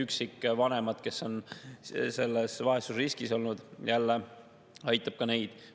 Üksikvanemad, kes on olnud vaesusriskis – jälle aitab ka neid.